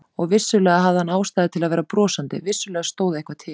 Og vissulega hafði hann ástæðu til að vera brosandi, vissulega stóð eitthvað til.